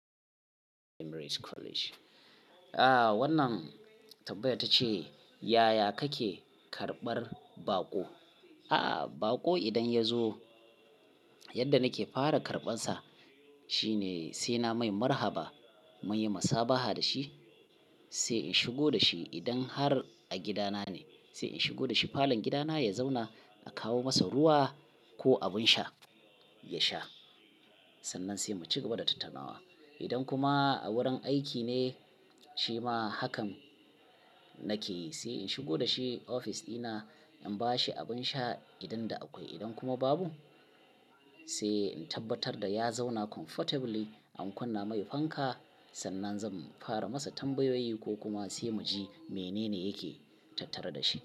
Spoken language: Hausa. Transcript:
Emery's College. Aaa wannan tabbaya ta ce "yaya kake karɓar baƙo?" A'a, baƙo idan ya zo yadda nake fara karɓan sa shine sai na mai marhaba, muyi masabaha da shi, sai in shigo da shi idan har a gida na ne sai in shigo da shi falon gida na ya zauna a kawo masa ruwa ko abin sha ya sha. Sannan sai mu cigaba da tattaunawa. Idan kuma a wurin aiki ne shi ma hakan nake yi. Sai in shigo da shi ofis ɗina, in ba shi abin sha idan da akwai. Idan kuma babu sai in tabbatar da ya zauna comfortably, an kunna mai fanka, sannan zan fara masa tambayoyi ko kuma sai mu ji mene ne yake tattare da shi.